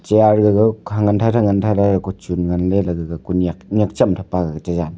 aa gagao khang ngantai ngantai ley kochun nganley lagaga kunyak nyak chem tapha .]